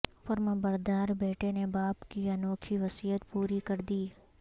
فرمانبردار بیٹے نے باپ کی انوکھی وصیت پوری کردی